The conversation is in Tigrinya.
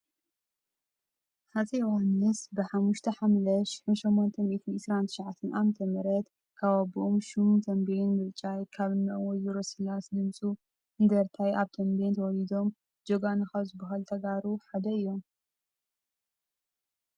ሃፀይ ዮሃንስ ብ5ሓምለ 1829 ዓ/ም ካብ ኣቦኦም ሹም ተንቤን ምርጫይ ካብ እኖኦም ወ/ሮ ስላስ ድምፁ እንደርታይ ኣብ ተምቤን ተወሊዶም ጅጋኑ ካብ ዝባሃሉ ተጋሩ ሓደ እዮም።